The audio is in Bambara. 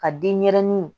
Ka denyɛrɛnin